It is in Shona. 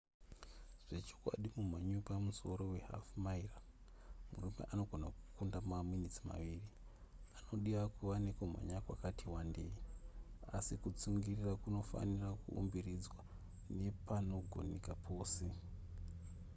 zvechokwadi mumhanyi wepamusoro we hafu-maira murume anogona kukunda maminitsi maviri anodiwa kuva nekumhanya kwakati wandeyi asi kutsungirira kunofanira kuumbiridzwa nepanogoneka pose